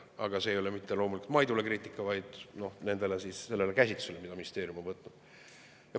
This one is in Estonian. Aga see ei ole loomulikult mitte kriitika Maidu kohta, vaid selle käsitluse kohta, mille ministeerium on võtnud.